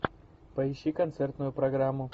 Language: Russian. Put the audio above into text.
поищи концертную программу